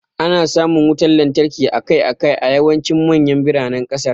Ana samun wutar lantarki akai-akai a yawancin manyan biranen kasar.